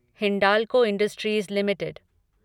Hindalco industries limited